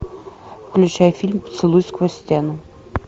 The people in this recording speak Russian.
включай фильм поцелуй сквозь стену